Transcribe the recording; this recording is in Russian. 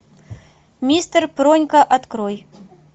мистер пронька открой